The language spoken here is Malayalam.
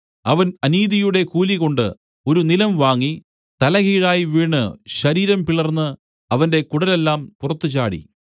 അവൻ അനീതിയുടെ കൂലികൊണ്ട് ഒരു നിലം വാങ്ങി തലകീഴായി വീണ് ശരീരം പിളർന്ന് അവന്റെ കുടലെല്ലാം പുറത്തുചാടി